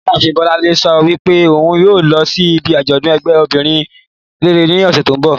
Ìyá àfin Bọ́lánlé sa wípé ohun yíò lọ sí ibì ajodun ẹgbẹ́ obìrin rere ní ọsẹ tí o nbọ